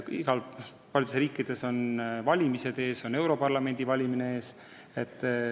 Paljudes riikides on valimised ees, ka seisab ees europarlamendi valimine.